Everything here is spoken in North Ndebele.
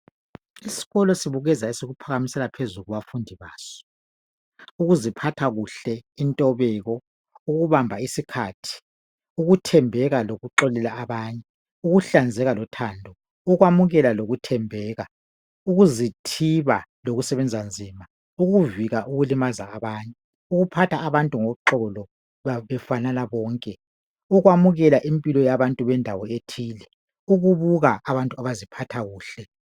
Isikolo sibukeza esikuphakamisela phezulu kubafundi baso. Ukuziphatha kuhle, intobeko, ukubamba isikhathi, ukuthembeka lokuxolela abanye, ukuhlanzeka lothando, ukwamukela lokuthembeka, ukuzithiba, lokusebenza nzima, ukuvika ukulimaza abanye, ukuphatha abantu ngoxolo befanana bonke, ukwamukela Impilo yabantu bendawo ethile, ukubuka abantu abaziphatha kuhle.